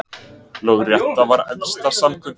Lögrétta var æðsta samkunda